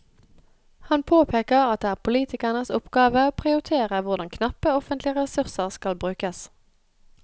Han påpeker at det er politikernes oppgave å prioritere hvordan knappe offentlige ressurser skal brukes.